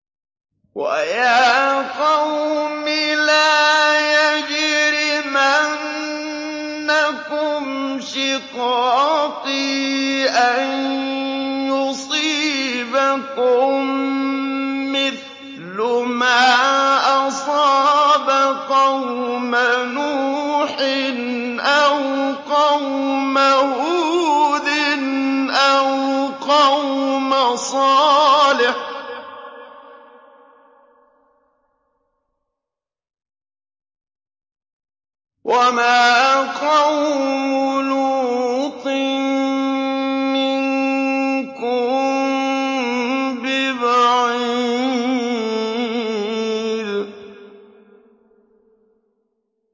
وَيَا قَوْمِ لَا يَجْرِمَنَّكُمْ شِقَاقِي أَن يُصِيبَكُم مِّثْلُ مَا أَصَابَ قَوْمَ نُوحٍ أَوْ قَوْمَ هُودٍ أَوْ قَوْمَ صَالِحٍ ۚ وَمَا قَوْمُ لُوطٍ مِّنكُم بِبَعِيدٍ